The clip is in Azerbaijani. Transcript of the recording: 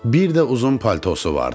Bir də uzun paltosu vardı.